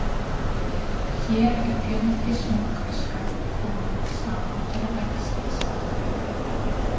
Hér er fjöldi smokkfiska kominn saman til að æxlast.